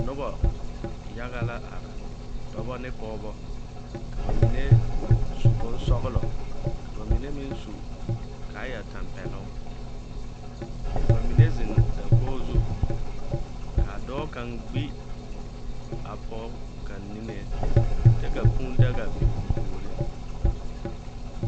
Noba yaga la are, dɔba ne pɔgeba, ka ba mine su bonsɔgelɔ ka mine meŋ su kaayatampɛloŋ. Ka ba mine zeŋ dakogi zu. Ka a a dɔɔ kaŋa gbi a pɔge kaŋa niŋeŋ, kyɛ ka kũũ daga biŋ o puoriŋ.